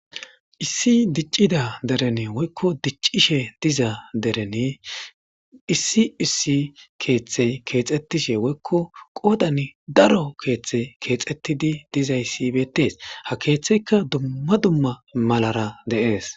issi diccida derene woykko diccishe diza derene issi issi keeththey keexettishe woykko qoodan daro keeththe keexettidi dizay sibetees ha keeththeyka dumma dumma malara deees